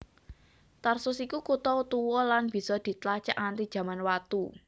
Tarsus iku kutha tuwa lan bisa ditlacak nganti Jaman Watu